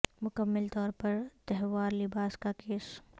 مکمل طور پر تہوار لباس کا کیس